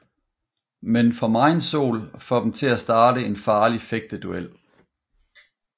Men for megen sol får dem til at til at starte en farlig fægteduel